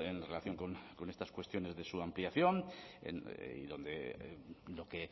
en relación con estas cuestiones de su ampliación y donde lo que